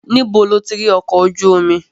Níbo lo ti ri ọkọ̀ ojú omi?